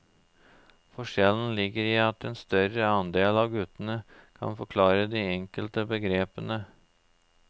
Forskjellen ligger i at en større andel av guttene kan forklare de enkelte begrepene.